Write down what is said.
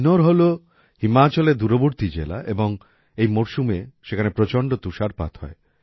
কিন্নৌর হল হিমাচলের দূরবর্তী জেলা এবং এই মরসুমে সেখানে প্রচন্ড তুষারপাত হয়